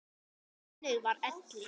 Þannig var Elli.